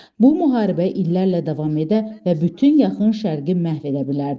Bu müharibə illərlə davam edə və bütün Yaxın Şərqi məhv edə bilərdi.